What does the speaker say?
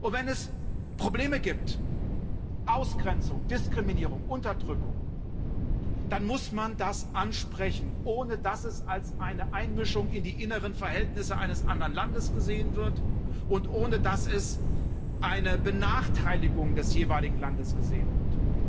Wenn es Probleme gibt Ausgrenzung, Diskriminierung, Unterdrückung dann muss man das ansprechen, ohne dass es als Einmischung in die inneren Verhältnisse eines anderen Landes gesehen wird und ohne dass es als Benachteiligung des jeweiligen Landes gesehen wird.